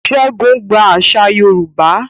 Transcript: Segun gba àṣà Yorùbá.